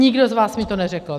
Nikdo z vás mi to neřekl.